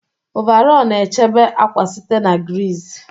Ọvarọọr na-echebe akwa site na griiz.